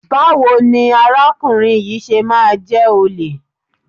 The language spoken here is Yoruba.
Báwo ni arákùnrin yìí ṣe máa jẹ́ olè?